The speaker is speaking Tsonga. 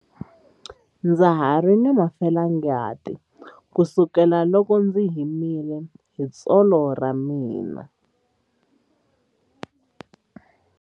Ndza ha ri na felangati kusukela loko ndzi himile hi tsolo ra mina.